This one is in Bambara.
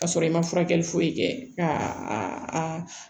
Ka sɔrɔ i ma furakɛli foyi kɛ ka a